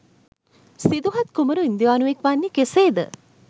සිදුහත් කුමරු ඉන්දියානුවෙක් වන්නේ කෙසේද?